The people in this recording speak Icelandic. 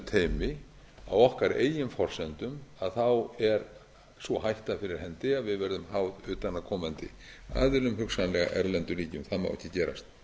á okkar eigin forsendum er sú hætta fyrir hendi að við verðum háð utanaðkomandi aðilum hugsanlega erlendum ríkjum það má ekki gerast